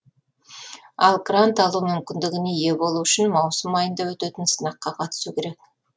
ал грант алу мүмкіндігіне ие болу үшін маусым айында өтетін сынаққа қатысу керек